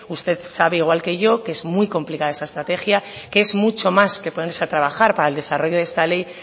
usted sabe igual que yo que es muy complicada esa estrategia que es mucho más que ponerse a trabajar para el desarrollo de esta ley